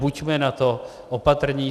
Buďme na to opatrní.